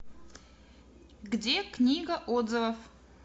где книга отзывов